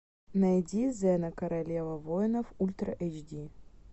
найди зена королева воинов ультра эйч ди